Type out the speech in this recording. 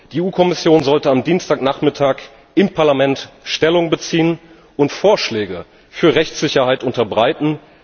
Die EU Kommission sollte am Dienstagnachmittag im Parlament Stellung beziehen und Vorschläge für Rechtssicherheit unterbreiten.